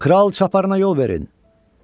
Kral Çaparına yol verin!